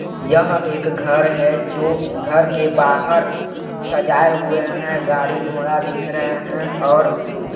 यह एक घर है जो घर के बाहर सजाए हुए हैं गाड़ी घोड़ा दिख रहे हैं और दो --